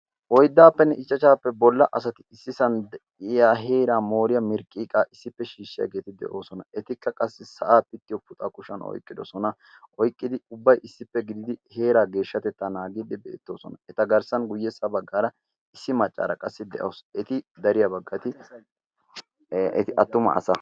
oiddaappenne ichchachaappe bolla asati issi san de7iya heeraa mooriyaa mirqqiiqaa issippe shiishshiyaageeti de7oosona. etikka qassi sa7aa pittiyo puxaa kushan oiqqidosona. oiqqidi ubbai issippe gididi heeraa geeshshatettaa naagiidi beettoosona. eta garssan guyyessa baggaara issi maccaara qassi de7oos eti dariyaa baggati eti attuma asa.